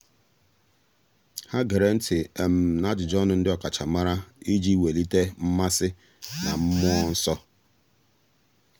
há gèrè ntị́ n’ájụ́jụ́ ọnụ ndị ọ́kàchàmàrà iji wèlíté mmasị na mmụọ́ nsọ́. nsọ́.